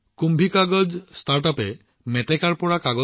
এই কুম্ভিকাগাজ এটা বিষয় মই নিশ্চিত যে আপোনালোকে যথেষ্ট ভাল পাব